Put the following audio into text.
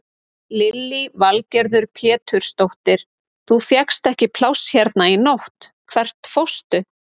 Lillý Valgerður Pétursdóttir: Þú fékkst ekki pláss hérna í nótt, hvert fórstu?